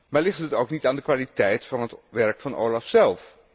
Maar ligt het ook niet aan de kwaliteit van het werk van OLAF zelf?